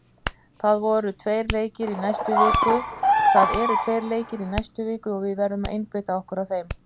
Það eru tveir leikir í næstu viku og við verðum að einbeita okkur að þeim.